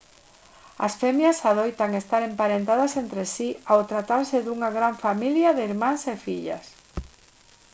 as femias adoitan estar emparentadas entre si ao tratarse dunha gran familia de irmás e fillas